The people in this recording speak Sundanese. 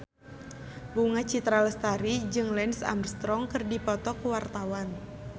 Bunga Citra Lestari jeung Lance Armstrong keur dipoto ku wartawan